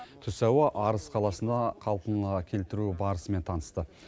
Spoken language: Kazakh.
түс ауа арыс қаласына қалпына келтіру барысымен танысты